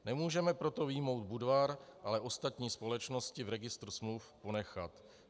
Nemůžeme proto vyjmout Budvar, ale ostatní společnosti v registru smluv ponechat.